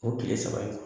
O kile saba in